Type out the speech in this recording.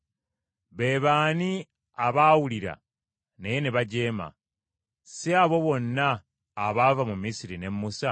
Be baani abaawulira, naye ne bajeema? Si abo bonna abaava mu Misiri ne Musa?